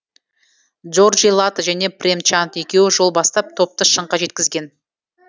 дорджи лато және прем чанд екеуі жол бастап топты шыңға жеткізген